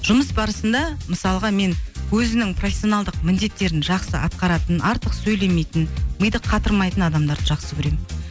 жұмыс барысында мысалға мен өзінің профессионалдық міндеттерін жақсы атқаратын артық сөйлемейтін миды қатырмайтын адамдарды жақсы көремін